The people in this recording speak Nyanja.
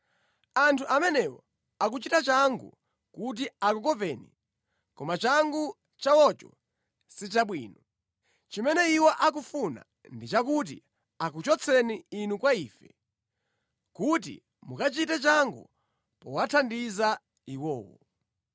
Anthu amenewo akuchita changu kuti akukopeni, koma changu chawocho sichabwino. Chimene iwo akufuna ndi chakuti akuchotseni inu kwa ife, kuti mukachite changu powathandiza iwowo.